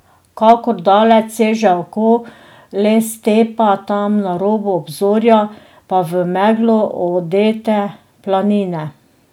Kakor daleč seže oko, le stepa, tam na robu obzorja pa v meglo odete planine.